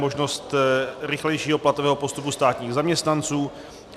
Možnost rychlejšího platového postupu státních zaměstnanců.